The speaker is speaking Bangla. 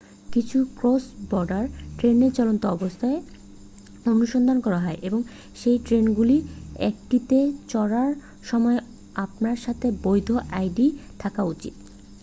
কিছু ক্রস-বর্ডার ট্রেনে চলন্ত অবস্থায় অনুসন্ধান করা হয় এবং সেই ট্রেনগুলির একটিতে চড়ার সময় আপনার সাথে বৈধ আইডি থাকা উচিত